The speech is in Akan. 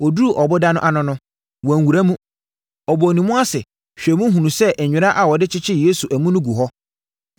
Ɔduruu ɔboda no ano no, wanwura mu. Ɔbɔɔ ne mu ase hwɛɛ mu hunuu sɛ nwera a wɔde kyekyeree Yesu amu no gu hɔ.